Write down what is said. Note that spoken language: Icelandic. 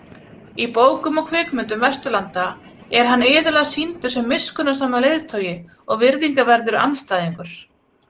Í bókum og kvikmyndum Vesturlanda er hann iðulega sýndur sem miskunnsamur leiðtogi og virðingarverður andstæðingur.